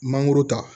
Mangoro ta